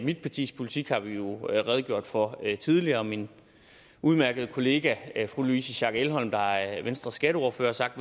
mit partis politik har vi jo redegjort for tidligere min udmærkede kollega fru louise schack elholm der er venstres skatteordfører har sagt